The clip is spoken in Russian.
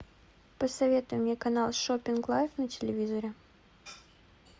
посоветуй мне канал шопинг лайф на телевизоре